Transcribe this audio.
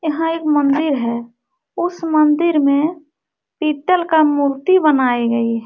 यहां एक मंदिर है उस मंदिर में पित्तल का मूर्ति बनाई गई हैं।